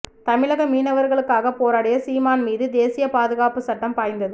தமிழக மீனவர்களுக்காக போராடிய சீமான் மீது தேசிய பாதுகாப்புச் சட்டம் பாய்ந்தது